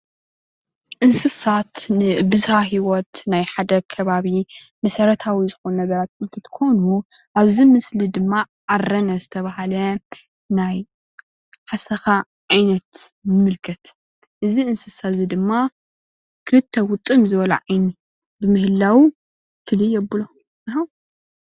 እንስሳት ን ብዝሃ ሂወት ናይ ሓደ ኸባቢ መሰረታዊ ዝኮኑ ነገራት ኦንትኾኑ ኣብዚ ምስሊ ድማ ዓረነ ዝተብሃለ ናይ ሓሰኻ ዓይነት ንምልከት እዚ እንስሳ እዙይ ክልተ ውጥም ዝበለ ዓይኒ ብምህላው ፍልይ የብሎ።